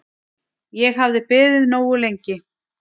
Sigur myndi senda skýr skilaboð